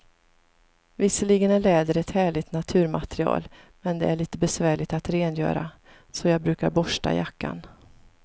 Visserligen är läder ett härligt naturmaterial, men det är lite besvärligt att rengöra, så jag brukar borsta jackan.